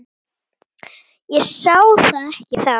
Ég sá það ekki þá.